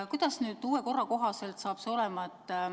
Kuidas nüüd uue korra kohaselt saab see olema?